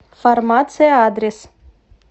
фармация адрес